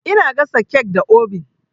Ina gasa kek da obin.